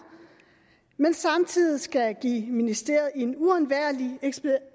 men som samtidig skal give ministeriet en uundværlig